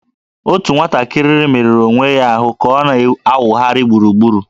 Otu nwatakịrị merụrụ onwe ya ka ọ na-awụgharị gburugburu